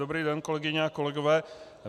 Dobrý den, kolegyně a kolegové.